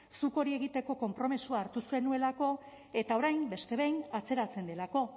zuk hori egiteko konpromisoa hartu zenuelako eta orain beste behin atzeratzen delako